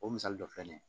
O misali dɔ filɛ nin ye